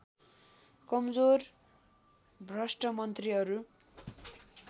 कमजोर भ्रष्ट मन्त्रीहरू